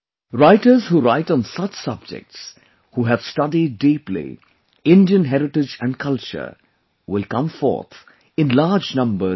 Writers who write on such subjects, who have studied deeply Indian heritage and culture, will come forth in large numbers in the country